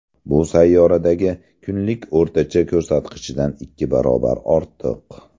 Bu sayyoradagi kunlik o‘rtacha ko‘rsatkichdan ikki barobar ortiq.